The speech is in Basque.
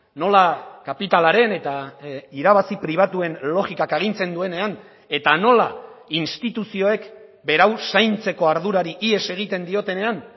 nola kapitalaren eta irabazi pribatuen logikak agintzen duenean eta nola instituzioek berau zaintzeko ardurari ihes egiten diotenean